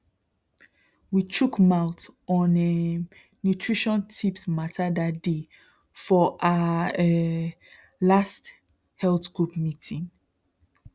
we chook mouth on um nutrition tips matterthat day for our um last health group meeting